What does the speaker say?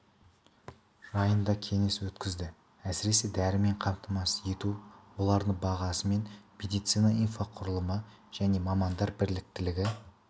жайында кеңес өткізді әсіресе дәрімен қамтамасыз ету олардың бағасы мен медицина инфрақұрылымы және мамандар біліктілігі